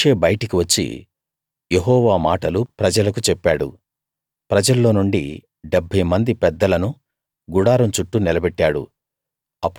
మోషే బయటికి వచ్చి యెహోవా మాటలు ప్రజలకు చెప్పాడు ప్రజల్లోనుండి 70 మంది పెద్దలను గుడారం చుట్టూ నిలబెట్టాడు